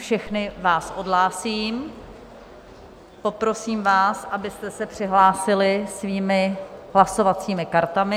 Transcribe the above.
Všechny vás odhlásím, poprosím vás, abyste se přihlásili svými hlasovacími kartami.